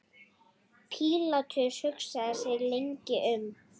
Pílatus hugsaði sig lengi um.